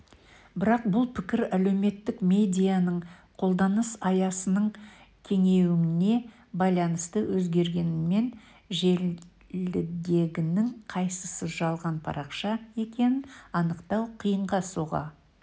бірақ бұл пікір әлеуметтік медианың қолданыс аясының кеңеюіне байланысты өзгергенімен желідегінің қайсысы жалған парақша екенін анықтау қиынға соға